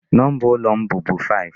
Number ụlọ m bụbu 5.